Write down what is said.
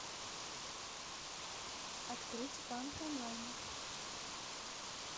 открыть банк онлайн